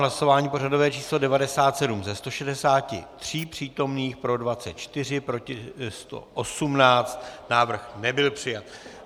Hlasování pořadové číslo 97, ze 163 přítomných, pro 24, proti 118, návrh nebyl přijat.